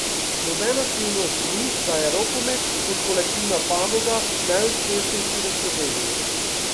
Nobena skrivnost ni, da je rokomet kot kolektivna panoga najuspešnejši v Sloveniji.